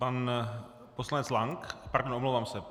Pan poslanec Lank, pardon, omlouvám se.